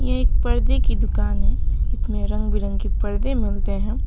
ये एक पर्दे की दुकान है इसमें रंग बिरंगे पर्दे मिलते हैं।